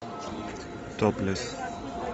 топлес